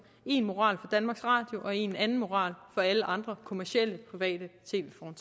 en moral for danmarks radio og en anden moral for alle andre kommercielle private